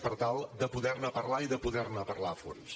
per tal de poder ne parlar i de poder ne parlar a fons